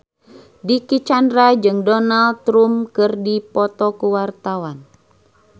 Dicky Chandra jeung Donald Trump keur dipoto ku wartawan